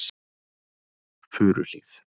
Furuhlíð